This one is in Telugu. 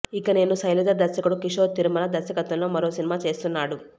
ఇక నేను శైలజ దర్శకుడు కిషోర్ తిరుమల దర్శకత్వంలో మరో సినిమా చేస్తున్నాడు